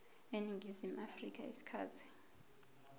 eningizimu afrika isikhathi